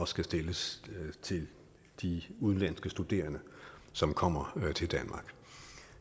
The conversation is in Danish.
skal stilles til de udenlandske studerende som kommer til danmark